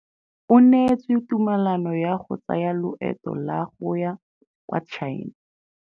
O neetswe tumalanô ya go tsaya loetô la go ya kwa China.